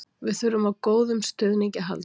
Við þurfum á góðum stuðningi að halda.